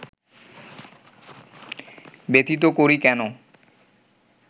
ব্যথিত করি কেন